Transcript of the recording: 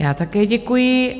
Já také děkuji.